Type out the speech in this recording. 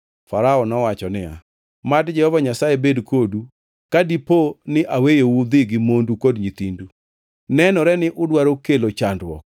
Farao nowacho niya, “Mad Jehova Nyasaye bed kodu ka dipo ni aweyou udhi gi mondu kod nyithindu! Nenore ni udwaro kelo chandruok!